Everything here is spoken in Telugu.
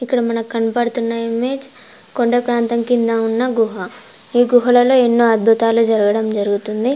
ఇక్కడ మనక్ కనపడుతున్న ఇమేజ్ కొండా ప్రాంతం కింద ఉన్న గుహ ఈ గుహలలో ఎన్నో అద్భుతాలు జరగడం జరుగుతుంది.